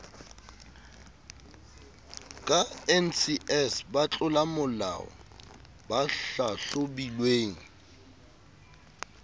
ka ncs batlolamolao ba hlahlobilweng